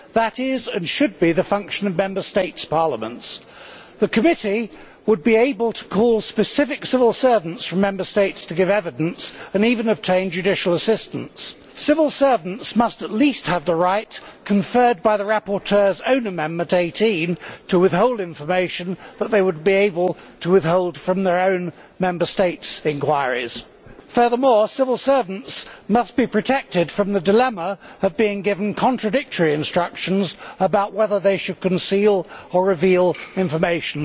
That is and should be the function of Member States' parliaments. The committee would be able to call specific civil servants from Member States to give evidence and even obtain judicial assistance. Civil servants must at least have the right conferred by the rapporteur's own Amendment 18 to withhold information that they would be able to withhold from their own Member State's inquiries. Furthermore civil servants must be protected from the dilemma of being given contradictory instructions about whether they should conceal or reveal information.